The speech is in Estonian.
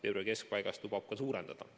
Veebruari keskpaigast lubab ta tarneid suurendada.